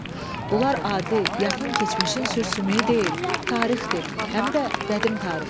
Bunlar adi, yaxın keçmişin sür-sümüyü deyil, tarixdir, həm də qədim tarixdir.